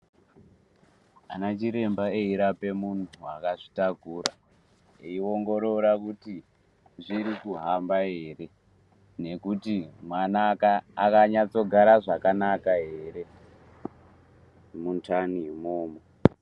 Anachiremba eyirape muntu akazvitakura eyiongorora kuti zviri kuhamba ere nekuti mwana akanyatsogara zvakanaka here, mundanimwo.